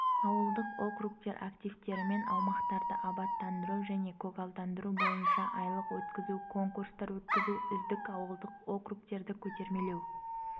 ауылдық округтер активтерімен аумақтарды абаттандыру және көгалдандыру бойынша айлық өткізу конкурстар өткізу үздік ауылдық округтерді көтермелеу